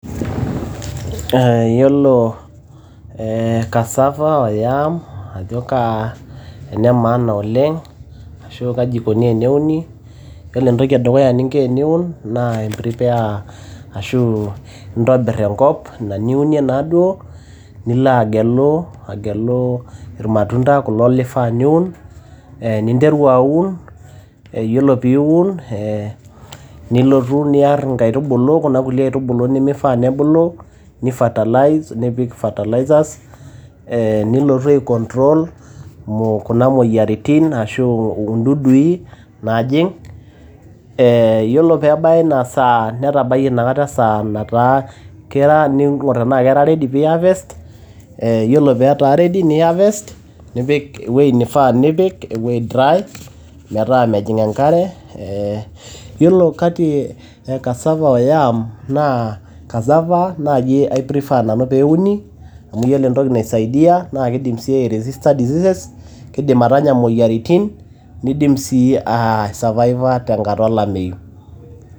Yiolo cassava o yams ajo kaa ene maana oleng ashu kaji eikoni teneuni. Ore entoki e dukuya teniun naa i prepare ashu intobirr enkop ina niunie naaduo, nilo agelu, agelu ilmatunda kulo lifaa niun. Ninteru aun yiolo pee iun ee nilotu niar inkaitubulu kuna kulie aitubulu nimifaa nebulu. Ni fertilize nipik fertilizers nilotu ai control kuna moyiaritin ashu indudui naajing. Eeeh yiolo pee ebaya ina saa netabayie inakata esaa nataa, kara ning`or tenaaa ketaa ready pee i harvest. Ore pee etaa ready ni harvest nipik ewueji neifaa nipik ewueji dry. Metaa mejing enkare. Yiolo kati e cassava o yams, naa cassava naaji nanu i prefer pee euni amu iyiolo entoki naisaidia naa keidim sii ai resister diseases. Kidim atanya moyiaritin nidim sii ai survive aa tenkata o lameyu.